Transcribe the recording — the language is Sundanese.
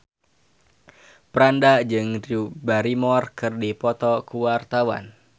Franda jeung Drew Barrymore keur dipoto ku wartawan